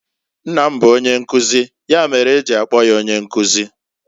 Nna m bu onyenkuzi, ya mere e ji akpo ya Onyenkuzi.